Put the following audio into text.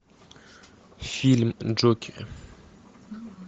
фильм джокер